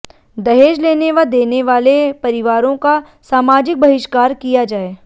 दहेज लेने व देने वाले परिवारो का सामाजिक बहिष्कार किया जाये